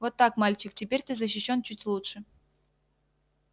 вот так мальчик теперь ты защищён чуть лучше